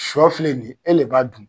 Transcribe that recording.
Sɔ filɛ nin ye, e le b'a dun.